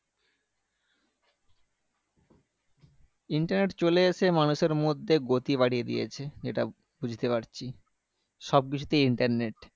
internet চলে এসে মানুষের মধ্যে গতি বাড়িয়ে দিয়েছে যেটা বুঝতে পারছি সবকিছুতেই internet